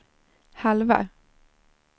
halva